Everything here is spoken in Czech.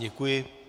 Děkuji.